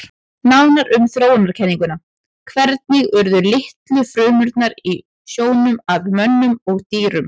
Nánar um þróunarkenninguna Hvernig urðu litlu frumurnar í sjónum að mönnum og dýrum?